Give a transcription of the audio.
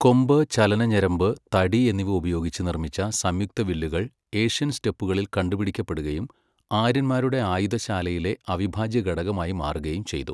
കൊമ്പ്, ചലനഞരമ്പ്, തടി എന്നിവ ഉപയോഗിച്ച് നിർമ്മിച്ച സംയുക്ത വില്ലുകൾ ഏഷ്യൻ സ്റ്റെപ്പുകളിൽ കണ്ടുപിടിക്കപ്പെടുകയും ആര്യന്മാരുടെ ആയുധശാലയിലെ അവിഭാജ്യ ഘടകമായി മാറുകയും ചെയ്തു.